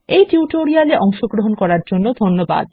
এই টিউটোরিয়াল এ অংশগ্রহন করার জন্য ধন্যবাদ